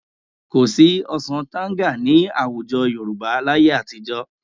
Kò sí ọsàn tanga ní àwùjọ Yorùbá láyé àtijọ́